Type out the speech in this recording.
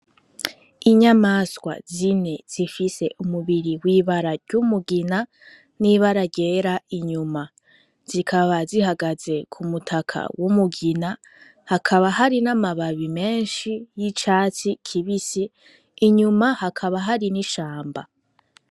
Inyamaswa zine zifise umubiri w'ibara ry'umugina n'ibara ryera inyuma zikaba zihagaze kumutaka w'umugina hakaba hari n'amababi menshi y'icatsi kibisi inyuma hakaba hari n'ishamba.